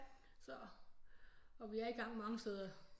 Så og vi er i gang mange steder